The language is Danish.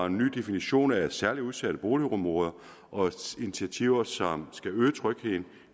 en ny definition af særligt udsatte boligområder og initiativer som skal øge trygheden